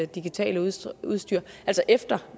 digitale udstyr udstyr og